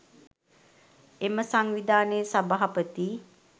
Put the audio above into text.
එම සංවිධානයේ සභාපති